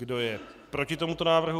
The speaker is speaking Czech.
Kdo je proti tomuto návrhu?